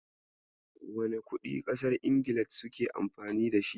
Wane kuɗin ƙasar Ingila suke Amfani da shi?